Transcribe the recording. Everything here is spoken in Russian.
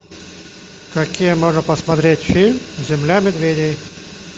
какие можно посмотреть фильм земля медведей